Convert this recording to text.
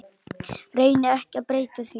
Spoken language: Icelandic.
Reyni ekki að breyta því.